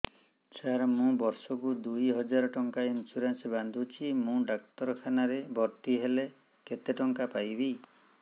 ସାର ମୁ ବର୍ଷ କୁ ଦୁଇ ହଜାର ଟଙ୍କା ଇନ୍ସୁରେନ୍ସ ବାନ୍ଧୁଛି ମୁ ଡାକ୍ତରଖାନା ରେ ଭର୍ତ୍ତିହେଲେ କେତେଟଙ୍କା ପାଇବି